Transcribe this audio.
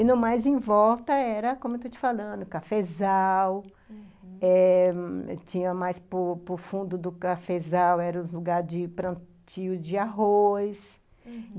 E no mais em volta era, como eu estou te falando, cafezal, uhum, eh tinha mais para o fundo do cafezal, era o lugar de plantio de arroz , uhum